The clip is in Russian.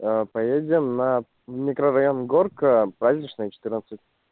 поедем на микрорайон горка праздничная четырнадцать